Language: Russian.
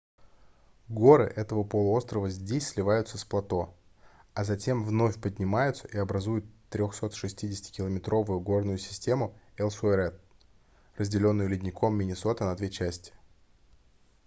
горы этого полуострова здесь сливаются с плато а затем вновь поднимаются и образуют 360-километровую горную систему элсуэрт разделённую ледником миннесота на две части